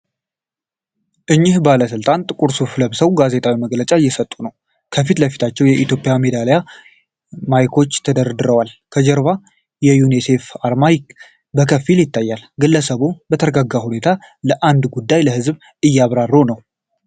እኚህ ባለስልጣን ጥቁር ሱፍ ለብሰው ጋዜጣዊ መግለጫ እየሰጡ ነው። በፊት ለፊታቸው የኢትዮጵያ ሚዲያ ማይኮች ተደርድረዋል። ከጀርባው የዩኒሴፍ አርማ በከፊል ይታያል። ግለሰቡ በተረጋጋ ሁኔታ ስለአንድ ጉዳይ ለሕዝብ እያብራሩ ነው።